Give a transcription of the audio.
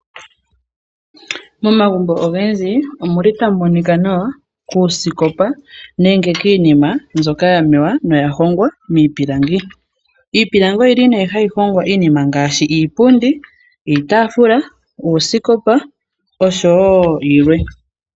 Momagumbo ogendji omuli tamu monika nawa, kuusikopa, niinima mbyoka yaningwa miipilangi. Iipilangi oyili neh hayi hongo iinima ngaashi iipundi, iitaafula, uusikopa, noshowo yilwe.